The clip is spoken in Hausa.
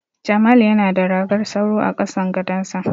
Jamal yana da ragar sauro a kasan gadonsa.